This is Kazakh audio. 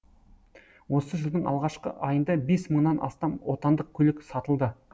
осы жылдың алғашқы айында бес мыңнан астам отандық көлік сатылды